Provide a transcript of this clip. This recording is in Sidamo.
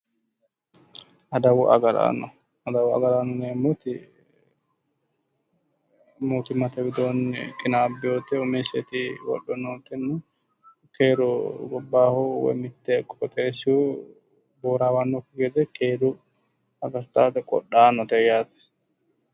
Adawu agaraano adawu agaraano yineemoti mootimmate widoonni qinabbewoti umiseti wodho nootenni keeru gobbayihu woyi mitte qoxessihu borawannokki gede keere agartaate qodhaanote yaate